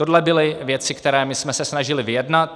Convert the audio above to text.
Tohle byly věci, které my jsme se snažili vyjednat.